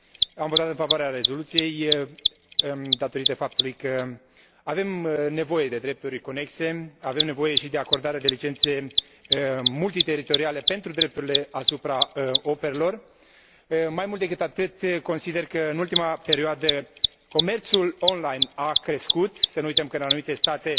Am votat în favoarea rezoluției, datorită faptului că avem nevoie de drepturi conexe, avem nevoie și de acordare de licențe multiteritoriale pentru drepturile asupra operelor. Mai mult decât atât, consider că, în ultima perioadă, comerțul online a crescut. Să nu uităm că în anumite state